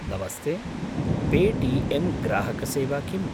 नमस्ते, Paytm ग्राहकसेवा किम्?